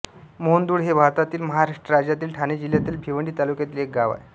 मोंहदुळ हे भारतातील महाराष्ट्र राज्यातील ठाणे जिल्ह्यातील भिवंडी तालुक्यातील एक गाव आहे